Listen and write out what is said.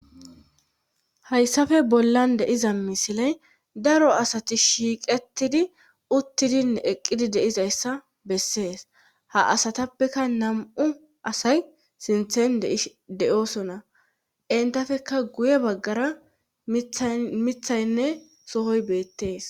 Hayssafe bollan deiza misiley daro asati shiiqetidi uttidine eqqidi deizayssa bessees ha asatappeka nam7u asay sinthen de7oosona intafeka guye baggara mithaynne sohoy beettees.